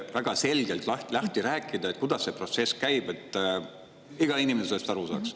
Palun väga selgelt lahti rääkida, kuidas see protsess käib, et iga inimene sellest aru saaks.